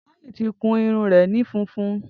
Toyin ti kún irún rẹ ni fúnfún